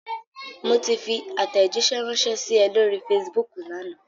Mo ti fi àtẹ̀jíṣẹ́ ránṣẹ́ sí ẹ lóri Facebook lánàá.